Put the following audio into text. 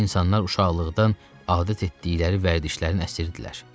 İnsanlar uşaqlıqdan adət etdikləri vərdişlərin əsiridirlər.